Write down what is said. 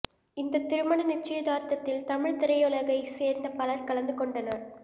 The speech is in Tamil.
இந்த திருமண நிச்சயதார்த்தத்தில் தமிழ் திரையுலகைச் சேர்ந்த பலர் கலந்து கொண்டனர்